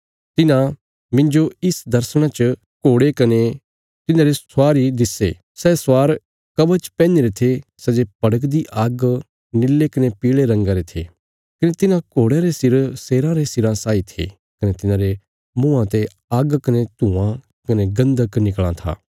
मिन्जो इस दर्शणा च घोड़े कने तिन्हांरे स्वार इयां दिस्से सै स्वार कवच पैहनीरे थे सै जे भड़कदी आग्ग निल्ले कने पील़े रंगा रे थे कने तिन्हां घोड़यां रे सिर शेराँ रे सिराँ साई थे कने तिन्हांरे मुँआं ते आग्ग कने धुआँ कने गन्धक निकल़ां था